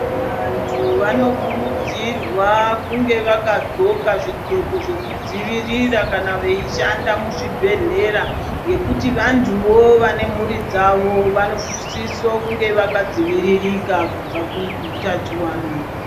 Vantu vanokurudzirwa kunge vakadzoka zvidzoko zvekudzivirira vachishanda muzvibhedhlera ngekuti vantuwo vane mhuri dzavo vanosiso kunge vakadziviririka kubva kuutachiwana.